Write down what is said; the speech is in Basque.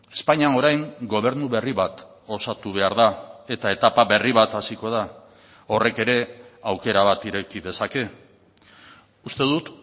espainian orain gobernu berri bat osatu behar da eta etapa berri bat hasiko da horrek ere aukera bat ireki dezake uste dut